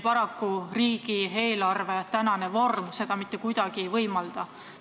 Paraku riigieelarve vorm seda mitte kuidagi ei võimalda.